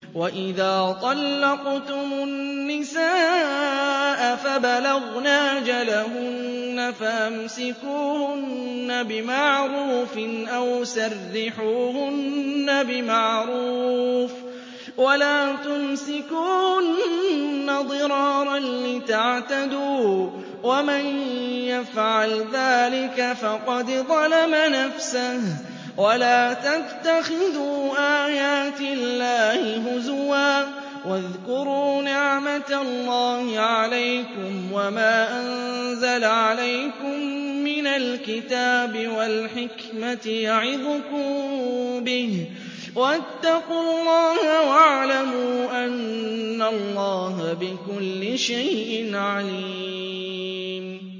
وَإِذَا طَلَّقْتُمُ النِّسَاءَ فَبَلَغْنَ أَجَلَهُنَّ فَأَمْسِكُوهُنَّ بِمَعْرُوفٍ أَوْ سَرِّحُوهُنَّ بِمَعْرُوفٍ ۚ وَلَا تُمْسِكُوهُنَّ ضِرَارًا لِّتَعْتَدُوا ۚ وَمَن يَفْعَلْ ذَٰلِكَ فَقَدْ ظَلَمَ نَفْسَهُ ۚ وَلَا تَتَّخِذُوا آيَاتِ اللَّهِ هُزُوًا ۚ وَاذْكُرُوا نِعْمَتَ اللَّهِ عَلَيْكُمْ وَمَا أَنزَلَ عَلَيْكُم مِّنَ الْكِتَابِ وَالْحِكْمَةِ يَعِظُكُم بِهِ ۚ وَاتَّقُوا اللَّهَ وَاعْلَمُوا أَنَّ اللَّهَ بِكُلِّ شَيْءٍ عَلِيمٌ